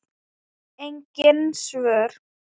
Engin svör.